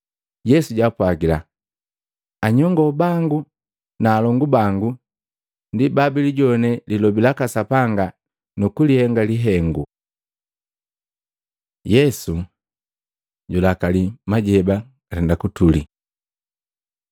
Yesu jaapwajila, “Anyongo bango na alongu bango ndi babilijowane lilobi laka Sapanga nukulihenge lihengu.” Yesu julakali majeba gatulia Matei 8:23-27; Maluko 4:35-41